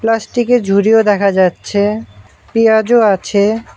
Plastic -এর ঝুড়িও দেখা যাচ্ছে পেঁয়াজও আছে।